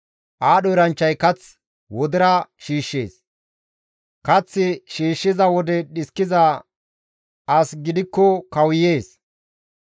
Aadho eranchchay kath wodera shiishshees; kath shiishshiza wode dhiskiza asi gidikko kawuyees.